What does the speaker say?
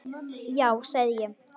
Já sagði ég.